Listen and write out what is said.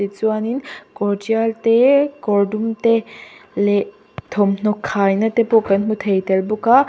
ti chuanin kawr trial te kawr dum te leh thawm hnaw khai na te pawh kan hmu thei bawk a.